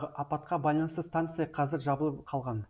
апатқа байланысты станция қазір жабылып қалған